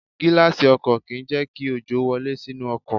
Gíláàsì ọkọ̀ kì ń jẹ́ kí òjò wọlé sínú ọkọ̀.